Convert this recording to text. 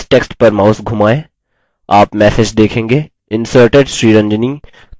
इस टेक्स्ट पर माउस धुमाएँ आप मैसेज देखेंगे